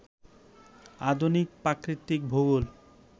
আধুনিক প্রাকৃতিক ভূগোল